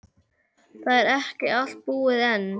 Það er ekki allt búið enn.